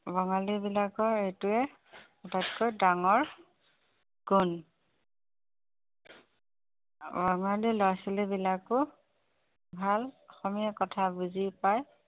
বঙালী বিলাকৰ এইটাৱে আটাইতকৈ ডাঙৰ গুণ বঙালী লৰা-ছোৱালী বিলাকো ভাল অসমীয়া কথা বুজি পায়